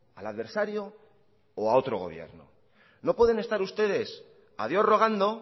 al adversario o a otro gobierno no pueden estar ustedes a dios rogando